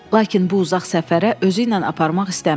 Lakin bu uzaq səfərə özüylə aparmaq istəmirdi.